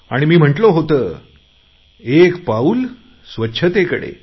आणि मी म्हटले होतेएक पाऊल स्वच्छतेकडे